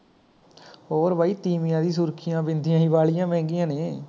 ਹੋਰ ਬਾਈ ਤੀਂਵੀਆਂ ਦੀ ਸੁਰਖੀਆਂ ਬਿੰਦੀਆਂ ਈ ਬਾਲੀਆ ਮਹਿੰਗੀਆਂ ਨੇ